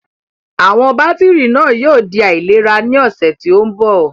Àwọn bátìrì náà yóò di aláìlera ní ọ̀sẹ̀ tó ń bọ̀.